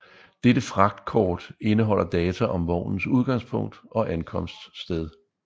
Dette fragtkort indeholder data om vognens udgangspunkt og ankomststed